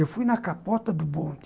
Eu fui na capota do bonde.